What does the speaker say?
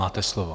Máte slovo.